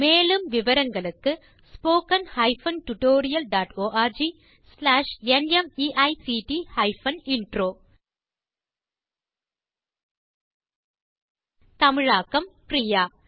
மேலும் விவரங்களுக்கு spoken hyphen tutorial dot org slash NMEICT hyphen intro தமிழாக்கம் பிரியா